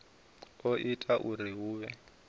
o ita uri hu vhe